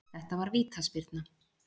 Þetta var vítaspyrna